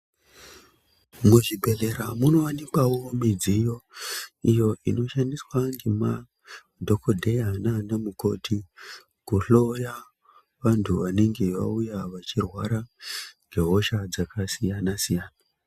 Muzvibhehlera munowanikwawo midziyo iyo inoshandiswa ngemadhokodheya nana mukoti kuhloya vantu vanenge vauya vachirwara ngehosha dzakasiyana-siyana.